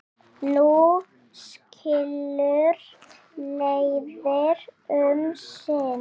Nú skilur leiðir um sinn.